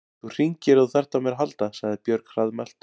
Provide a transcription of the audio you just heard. Þú hringir ef þú þarft á mér að halda, sagði Björg hraðmælt.